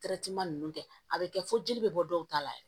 nunnu kɛ a be kɛ fo jeli be bɔ dɔw ta la